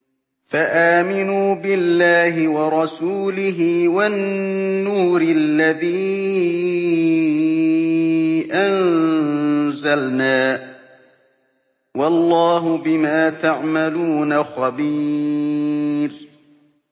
فَآمِنُوا بِاللَّهِ وَرَسُولِهِ وَالنُّورِ الَّذِي أَنزَلْنَا ۚ وَاللَّهُ بِمَا تَعْمَلُونَ خَبِيرٌ